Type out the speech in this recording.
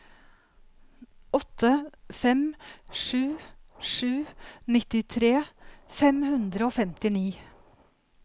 åtte fem sju sju nittitre fem hundre og femtini